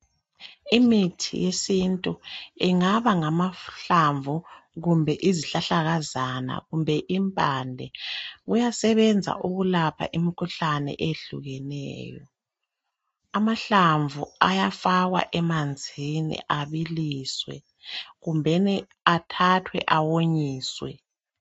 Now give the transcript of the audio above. Imithi yesintu ingaba ngamahlamvu kumbe Izihlahlakazana kumbe impande . Kuyasebenza ukulapha imikhuhlane eyehlukeneyo, amahlamvu ayafakwa emanzini abiliswe kumbeni ayathathwa awonyiswe.